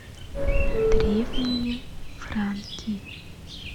древние франки